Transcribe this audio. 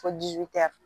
Fo